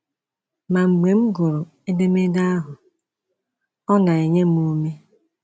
Ma mgbe m gụrụ edemede ahụ, ọ na-enye m ume.